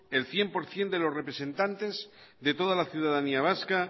el cien por ciento de los representantes de toda la ciudadanía vasca